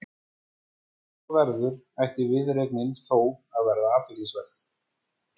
Ef svo verður ætti viðureignin þó að vera athyglisverð.